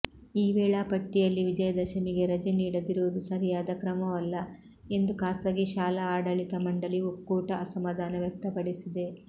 ಈ ವೇಳಾಪಟ್ಟಿಯಲ್ಲಿ ವಿಜಯದಶಮಿಗೆ ರಜೆ ನೀಡದಿರುವುದು ಸರಿಯಾದ ಕ್ರಮವಲ್ಲ ಎಂದು ಖಾಸಗಿ ಶಾಲಾ ಆಡಳಿತ ಮಂಡಳಿ ಒಕ್ಕೂಟ ಅಸಮಾಧಾನ ವ್ಯಕ್ತಪಡಿಸಿದೆ